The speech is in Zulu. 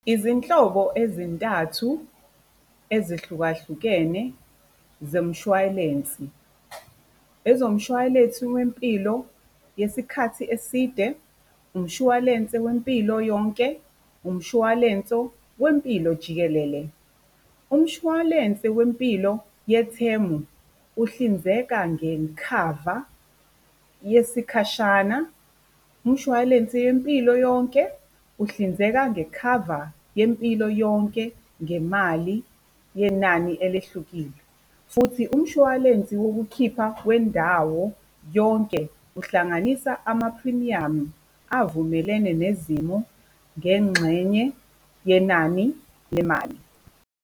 Izinhlobo ezintathu ezihlukahlukene zemshwalensi, ezomshwalensi wempilo yesikhathi eside, umshwalense wempilo yonke, umshwalenso wempilo jikelele. Umshwalensi wempilo yethemu uhlinzeka ngekhava yesikhashana. Umshwalensi yempilo yonke uhlinzeka ngekhava yempilo yonke ngemali yenani elehlukile. Futhi umshwalensi wokukhipha wendawo yonke uhlanganisa ama-premium avumelene nezimo ngengxenye yenani lemali.